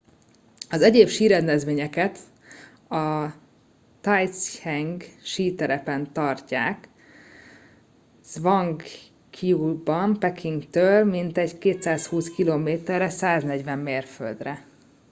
az egyéb sírendezvényeket a taizicheng síterepen tartják zhangjiakouban pekingtől mintegy 220 km-re 140 mérföldre